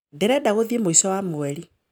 Ndĩrenda guthiĩ mũico wa mũeri